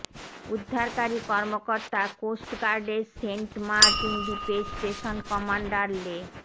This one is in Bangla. উদ্ধারকারী কর্মকর্তা কোস্ট গার্ডের সেন্টমার্টিন দ্বীপের স্টেশন কমান্ডার লে